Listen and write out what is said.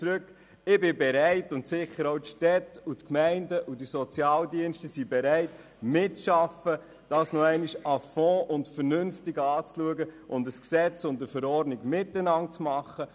Ich bin bereit – und sicher sind es auch die Städte, Gemeinden sowie die Sozialdienste – mitzuarbeiten und das Ganze noch einmal à fond und vernünftig anzuschauen und miteinander ein Gesetz sowie eine Verordnung zu machen.